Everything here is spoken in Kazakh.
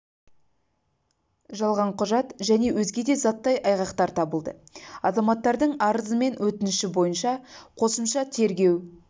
жалған құжат және өзге де заттай айғақтар табылды азаматтардың арызы мен өтініші бойынша қосымша тергеу